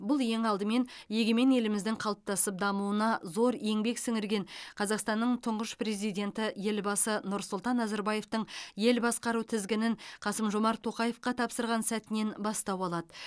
бұл ең алдымен егемен еліміздің қалыптасып дамуына зор еңбек сіңірген қазақстанның тұңғыш президенті елбасы нұрсұлтан назарбаевтың ел басқару тізгінін қасым жомарт тоқаевқа тапсырған сәтінен бастау алады